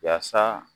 Yaasa